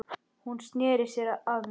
Hún sneri sér að mér.